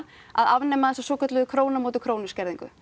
að afnema þessa svokölluðu krónu á móti krónu skerðingu